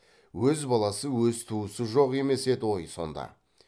өз баласы өз туысы жоқ емес еді ғой сонда